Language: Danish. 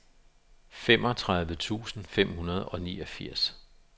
femogtredive tusind fem hundrede og niogfirs